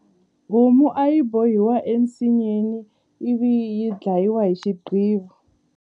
Homu a yi bohiwa ensinyeni ivi yi dlayiwa hi xiqivi.